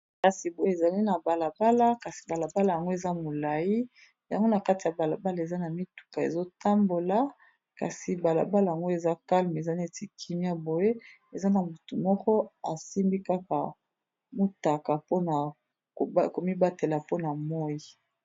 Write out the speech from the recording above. Kasi boye ezali na balabala kasi balabala yango eza molayi yango na kati ya balabala eza na mituka ezotambola kasi balabala yango eza calme eza neti kimia boye eza na motu moko asimbi kaka mutaka mpona komibatela mpona moyi.